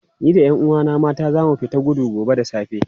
Ni da 'yan uwana mata za mu tafi gudu gobe da safe.